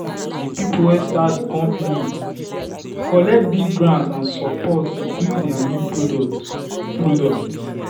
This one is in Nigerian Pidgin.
the people wey start the company collect big grant and support to build their new product. product.